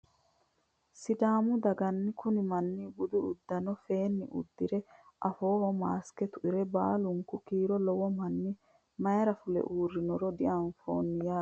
Sidaamu dagaha kunni maanni buddu uudunne feenni udirre afooho masikke tuire baallunku kiiro lowo manni mayiira fule uurinoro dianifoonni yaatte